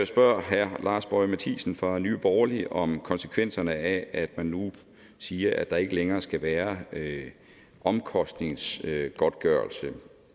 spørger herre lars boje mathiesen fra nye borgerlige om konsekvenserne af at man nu siger at der ikke længere skal være omkostningsgodtgørelse